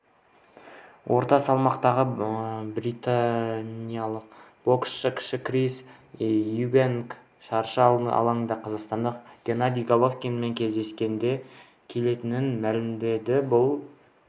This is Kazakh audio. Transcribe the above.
орта салмақтағы британиялық боксшы кіші крис юбэнк шаршы алаңда қазақстандық геннадий головкинмен кездескісі келетінін мәлімдеді бұл